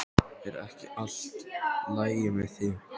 Er ekki allt lagi með þig?